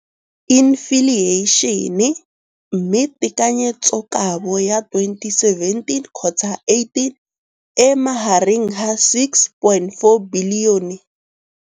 Infleišene, mme tekanyetsokabo ya 2017, 18, e magareng ga R6.4 bilione.